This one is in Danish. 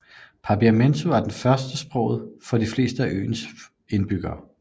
Papiamento er førstesproget for de fleste af øens indbyggere